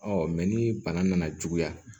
ni bana nana juguya